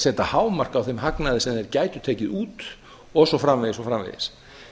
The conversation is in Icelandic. setja hámark á þann hagnað sem þeir gætu tekið út og svo framvegis